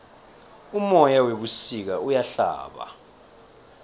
umoya webusika uyahlaba